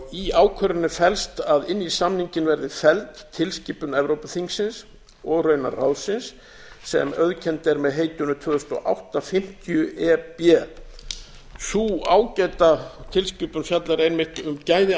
í ákvörðuninni fellst að inn í samninginn verði felld tilskipun evrópuþingsins og raunar ráðsins sem auðkennd er með heitinu tvö þúsund og átta fimmtíu e b en sú ágæta tilskipun fjallar einmitt um gæði